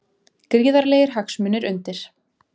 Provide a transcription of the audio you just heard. Gríðarlegir hagsmunir undir